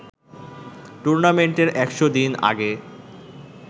টুর্নামেন্টের ১০০ দিন আগে